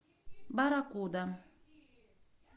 барракуда